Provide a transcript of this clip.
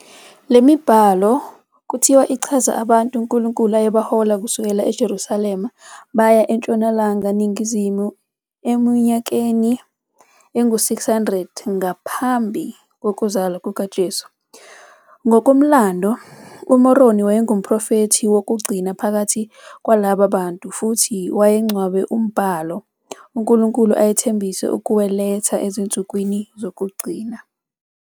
Le mibhalo kwathiwa ichaza abantu uNkulunkulu ayebahole kusukela eJerusalema baya eNtshonalanga Ningizimu eminyakeni engu-600 ngaphambi kokuzalwa kukaJesu. Ngokomlando, uMoroni wayengumprofethi wokugcina phakathi kwalaba bantu futhi wayengcwabe umbhalo, uNkulunkulu ayethembise ukuwuletha ezinsukwini zokugcina.